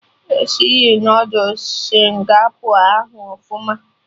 Esiri Noodul Singapọ ahụ ọfụma